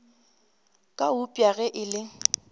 ka eupša ge e le